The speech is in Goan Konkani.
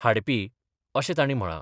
हाडपी अशें तांणी म्हळां.